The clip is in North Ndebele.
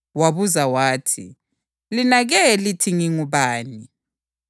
USimoni Phethro waphendula wathi, “UnguKhristu iNdodana kaNkulunkulu ophilayo.”